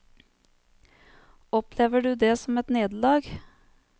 Opplever du det som et nederlag?